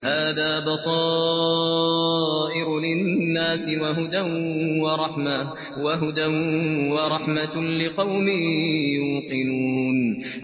هَٰذَا بَصَائِرُ لِلنَّاسِ وَهُدًى وَرَحْمَةٌ لِّقَوْمٍ يُوقِنُونَ